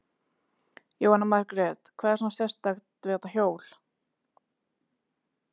Jóhanna Margrét: Hvað er svona sérstakt við þetta hjól?